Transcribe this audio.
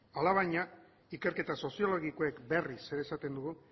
alabaina ikerketa soziologikoek berriz ere esaten dugu